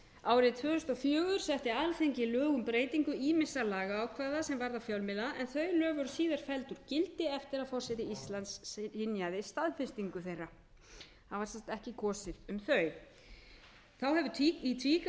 árið tvö þúsund og fjögur setti alþingi lög um breytingu ýmissa lagaákvæða sem varða fjölmiðla en þau lög eru síðar felld úr gildi eftir að forseti íslands synjaði staðfestingu þeirra það var sem sé ekki kosið um þau þá hefur í tvígang